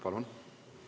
Palun!